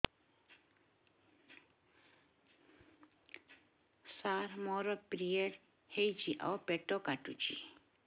ସାର ମୋର ପିରିଅଡ଼ ହେଇଚି ଆଉ ପେଟ କାଟୁଛି